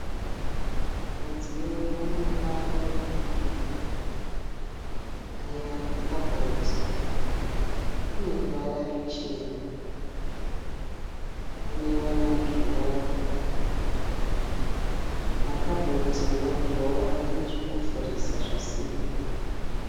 Mudziyo womumba mekubikira. Aya makabhodhi, ane ruvara ruchena. Panewo madhirowa. Makabhodhi nemadhirowa ane zvekuvhurisa zvesimbi.